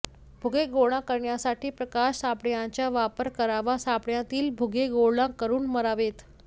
भुगे गोळा करण्यासाठी प्रकाश सापळ्यांचा वापर करावा सापळ्यातील भुगे गोळा करून मारावेत